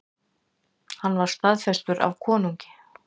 Hann var staðfestur af konungi.